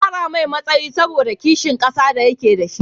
An kara mai matsayi saboda ƙishin ƙasa da ya ke dashi